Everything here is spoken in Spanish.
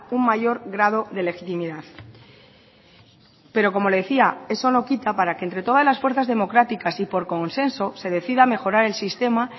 un mayor grado de legitimidad pero como le decía eso no quita para que entre todas las fuerzas democráticas y por consenso se decida mejorar el sistema